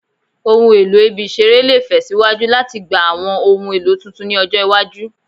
Ohun elo ibi-iṣere le fe siwaju latigba awọn ohun elo tuntun ni ọjọ iwaju